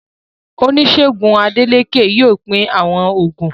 Oníṣègùn Adélékè yóò pín àwọn oògùn.